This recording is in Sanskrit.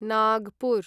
नागपुर्